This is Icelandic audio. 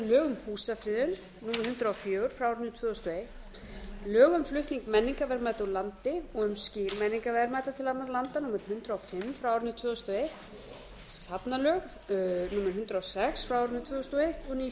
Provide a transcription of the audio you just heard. um húsafriðun númer hundrað og fjögur tvö þúsund og ein lög um flutning menningarverðmæta úr landi og um skil menningarverðmæta til annarra landa númer hundrað og fimm tvö þúsund og eitt safnalög númer hundrað og sex tvö þúsund og eins og ný